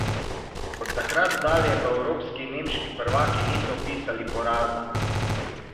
Od takrat dalje pa evropski in nemški prvaki niso vpisali poraza.